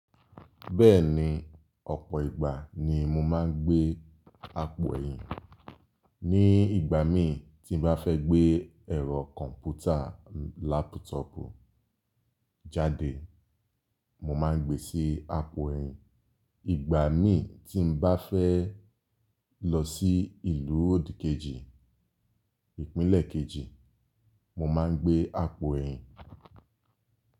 Bẹ́ẹ̀ni, ọ̀pọ̀ ìgbà ni mo máa ń gbé àpò ẹ̀yìn. Ní ìgbà mí tí n bá fẹ́ gbé ẹ̀rọ kọ̀ǹpútà lápútọ̀pù jáde, mo máa ń gbe sí àpò ẹ̀yìn. Ìgbà mí tí n bá fẹ́ lọ sí ìlú òdìkejì, ìpínlẹ̀ kejì, mo máa ń gbé àpò ẹ̀yìn.